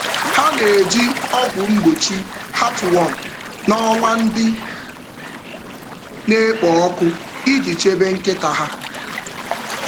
Ha na-eji ọgwụ mgbochi heartworm n’ọnwa ndị na-ekpo ọkụ iji ọkụ iji chebe nkịta ha.